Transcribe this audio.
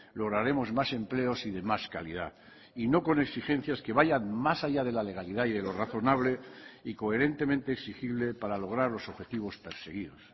lograremos más empleos y de más calidad y no con exigencias que vayan más allá de la legalidad y de lo razonable y coherentemente exigible para lograr los objetivos perseguidos